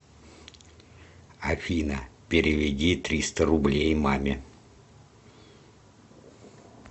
афина переведи триста рублей маме